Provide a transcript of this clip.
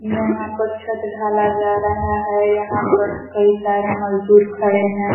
यहां पर छत ढाला जा रहा है। यहां पर कई सारे मजदूर खड़े हैं।